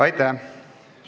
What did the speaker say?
Aitäh!